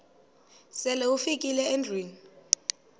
sele ufikile endlwini